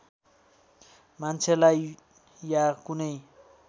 मान्छेलाई या कुनै